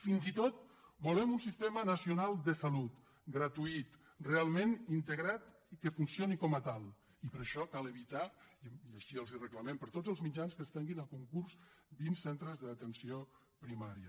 fins i tot volem un sistema nacional de salut gratuït realment integrat que funcioni com a tal i per això cal evitar i així els ho reclamem per tots els mitjans que es treguin a concurs vint centres d’atenció primària